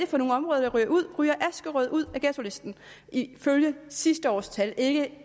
for nogle områder der ryger ud ryger askerød ud af ghettolisten ifølge sidste års tal ikke